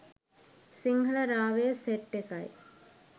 සිංහල රාවය සෙට් එකයි.